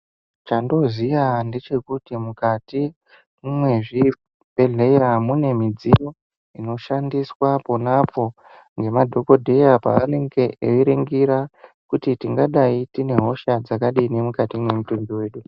Chandooziya ndechekuti mukati mwezvibhedhlera mune midziyo inoshandiswa pona apo ngemadhokodheya pavanenge eiringira kuti tingadayi tine hosha dzakadini mukati mwemutumbi wedu.